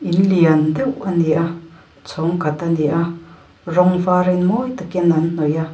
in lian deuh a ni a chhawng khat a ni a rawng vârin mawi takin an hnawih a.